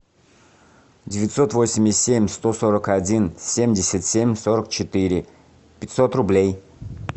девятьсот восемьдесят семь сто сорок один семьдесят семь сорок четыре пятьсот рублей